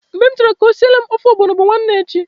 Mgbe m chọrọ ka o siele m ofe ọgbọnọ bu nwanne echi.